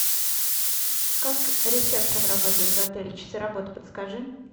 как ресепшен работает в отеле часы работы подскажи